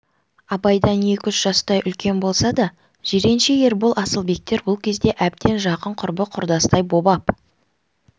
абайдан екі-үш жастай үлкен болса да жиренше ербол асылбектер бұл кезде әбден жақын құрбы-құрдастай боп ап